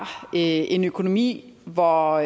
en økonomi hvor